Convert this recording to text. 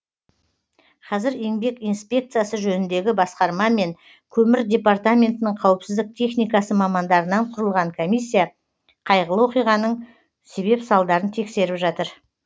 қазір еңбек инспекциясы жөніндегі басқарма мен көмір департаментінің қауіпсіздік техникасы мамандарынан құрылған комиссия қайғылы оқиғаның себеп салдарын тексеріп жатыр